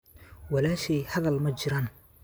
Walaashey hadal ma jiraan.